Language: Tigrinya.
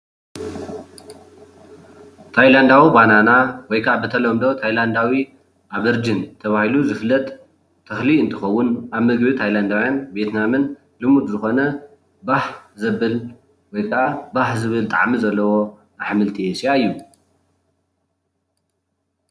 ታይላንዳዊ በናና ወይ ከዓ ብተለምዶ ታይላንዳዊ ኣመርጅን ተባሂሉ ዝፍለጥ ተክሊ እንትከውን ኣብ ምግቢ ታይላንዳዊያንን ኣመርጅንን ልሙድ ዝኮነ ባህ ዘብል ወይ ከዓ ባህ ዘብል ጣዕሚ ዘለዎ ሕምልቲ ኤስያ እዩ፡፡